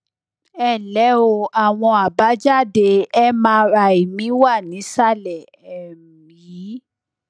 ẹ ǹlẹ o àwọn àbájáde mri mi wà nísàlẹ um yìí